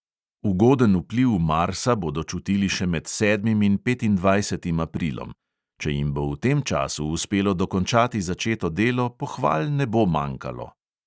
Ugoden vpliv marsa bodo čutili še med sedmim in petindvajsetim aprilom; če jim bo v tem času uspelo dokončati začeto delo, pohval ne bo manjkalo.